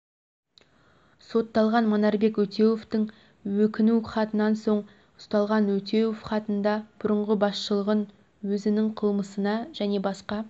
сотталған манарбек өтеуовтің өкіну хатынан соң ұсталған өтеуов хатында бұрынғы басшылығын өзінің қылмысына және басқа